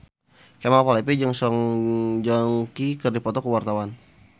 Kemal Palevi jeung Song Joong Ki keur dipoto ku wartawan